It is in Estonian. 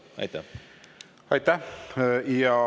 Aitäh!